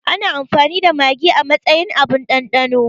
Ana amfani da magi a matsayin abun ɗanɗano